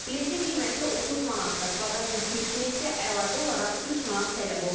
Biletin qiyməti 30 manatdır, baqaj yükü üçün isə əlavə olaraq 3 manat tələb olunur.